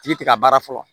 Tigi tɛ ka baara fɔlɔ